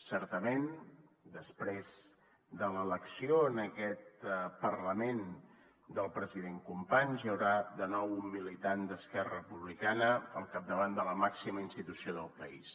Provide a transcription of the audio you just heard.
certament després de l’elecció en aquest parlament del president companys hi haurà de nou un militant d’esquerra republicana al capdavant de la màxima institució del país